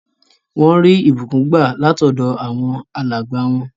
Wọ́n rí ìbùkún gbà látọ̀dọ̀ àwọn alàgbà wọn.